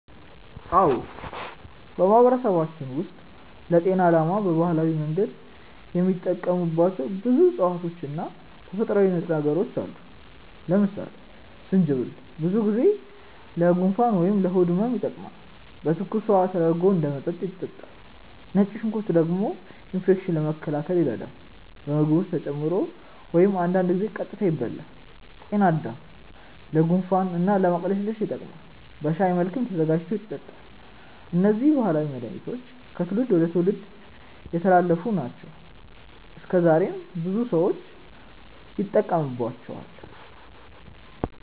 አዎ፣ በማህበረሰባችን ውስጥ ለጤና ዓላማ በባህላዊ መንገድ የሚጠቀሙባቸው ብዙ እፅዋት እና ተፈጥሯዊ ንጥረ ነገሮች አሉ። ለምሳሌ ጅንጅብል ብዙ ጊዜ ለጉንፋን ወይም ለሆድ ህመም ይጠቀማል፤ በትኩስ ውሃ ተደርጎ እንደ መጠጥ ይጠጣል። ነጭ ሽንኩርት ደግሞ ኢንፌክሽንን ለመከላከል ይረዳል፣ በምግብ ውስጥ ተጨምሮ ወይም አንዳንድ ጊዜ ቀጥታ ይበላል። ጤናድምም ለጉንፋን እና ለማቅለሽለሽ ይጠቀማል፤ በሻይ መልክም ተዘጋጅቶ ይጠጣል። እነዚህ ባህላዊ መድሃኒቶች ከትውልድ ወደ ትውልድ የተላለፉ ናቸው እና እስከዛሬም በብዙ ሰዎች ይጠቀሙባቸዋል።